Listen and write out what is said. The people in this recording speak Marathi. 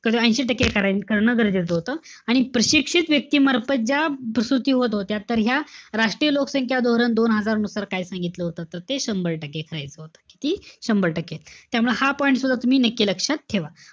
ऐशी टक्के करणं गरजेचं होतं, आणि प्रशिक्षित व्यक्ती मार्फत ज्या प्रसूती होत होत्या. तर ह्या राष्ट्रीय लोकसंख्या धोरण दोन हजार नुसार काय सांगितलं होतं, तर ते संभार टक्के करायचं होतं. किती? शंभर टक्के. त्यामुळे हा point सुद्धा तुम्ही नक्की लक्षात ठेवा.